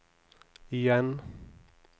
igjen